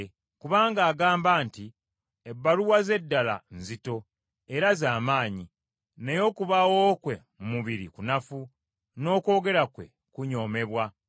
Kubanga agamba nti, “Ebbaluwa ze ddala nzito era z’amaanyi, naye okubaawo kwe mu mubiri kunafu, n’okwogera kwe kunyoomebwa.”